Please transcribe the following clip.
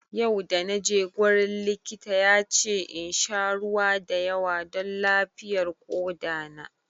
Yau da naje gurin likita ya ce insha ruwa da yawa don lafiyar koɗa na